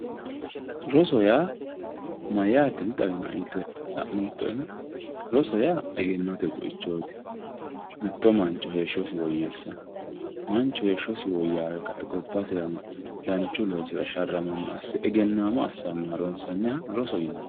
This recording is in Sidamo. Rosoho yaa mayate dixawinoe yte xa'mottoero ,roso yaa egennote buichoti mitto mancho heeshshosi woyyessano ,manchu heeshshosi woyyawe kae gobbasino danchu loosira sharramano assanoha rosoho yinanni.